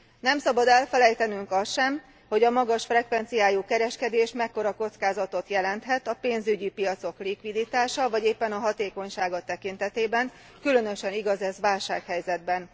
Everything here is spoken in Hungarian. Nem szabad elfelejtenünk azt sem, hogy a magas frekvenciájú kereskedés mekkora kockázatot jelenthet a pénzügyi piacok likviditása, vagy éppen hatékonysága tekintetében különösen igaz ez válsághelyzetben.